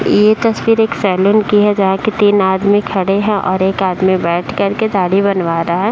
ये तस्वीर एक सैलून की है जहाँ कि तीन आदमी खड़े हैं और एक आदमी बैठ करके दाढ़ी बनवा रहा है।